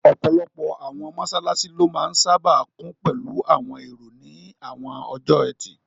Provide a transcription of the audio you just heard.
Ọ̀pọ̀lọpọ̀ àwọn mọ́sálásí ló máa n sáábà kún pẹ̀lú àwọn èrò ní àwọn ọjọ́ ẹtì